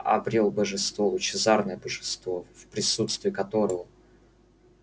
обрёл божество лучезарное божество в присутствии которого